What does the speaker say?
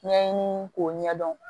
Ɲɛɲini k'o ɲɛdɔn